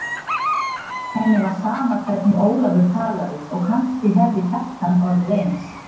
Henni var sama hvernig Ólafur talaði og kannski hefði Kjartan orðið eins.